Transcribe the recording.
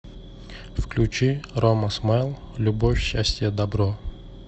включи рома смайл любовь счастье добро